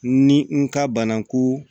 Ni n ka banako